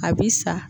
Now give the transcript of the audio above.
A bi sa